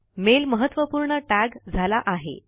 mail महत्वपूर्ण tag झाला आहे